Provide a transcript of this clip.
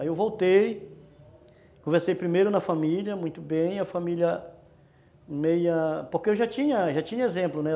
Aí eu voltei, conversei primeiro na família, muito bem, a família meio ... porque eu já tinha tinha exemplo, né?